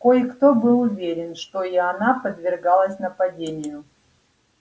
кое-кто был уверен что и она подверглась нападению